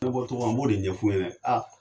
Me bɔ togo mina n'o de ɲɛf'u ɲɛnɛ a